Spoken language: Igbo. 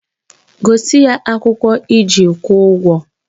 Gosi ya akwụkwọ iji kwụọ ụgwọ!